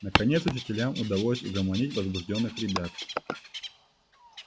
наконец учителям удалось угомонить возбуждённых ребят